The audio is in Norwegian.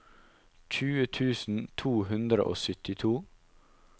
tjue tusen to hundre og syttito